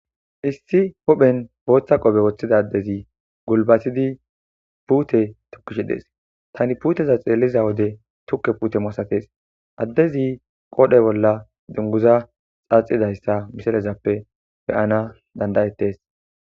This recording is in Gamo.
Issi huphen booththa qope woththida addezi gulbatidi puute tukishi dees tani puuteza xeelliza wode tukke puute maasates addezi qoodhe bolla dunguza xaaxidayssa misalezappe beyana dandayettes.